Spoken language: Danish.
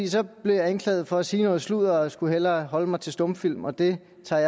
så blev jeg anklaget for at sige noget sludder og skulle hellere holde mig til stumfilm og det tager